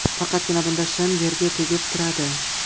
Faqatgina bunda shim yerga tegib turadi.